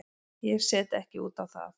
Ég set ekki út á það.